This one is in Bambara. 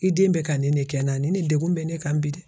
I den bɛ ka nin de kɛ n na ni degun bɛ ne kan bi dɛ.